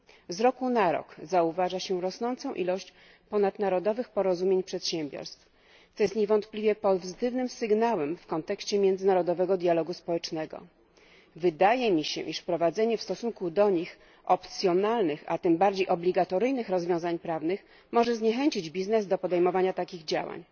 Z roku na rok zauważa się rosnącą ilość ponadnarodowych porozumień przedsiębiorstw, co jest niewątpliwie pozytywnym sygnałem w kontekście międzynarodowego dialogu społecznego. Wydaje mi się, że wprowadzenie w stosunku do nich opcjonalnych, a tym bardziej obligatoryjnych rozwiązań prawnych może zniechęcić przedsiębiorców do podejmowania takich działań.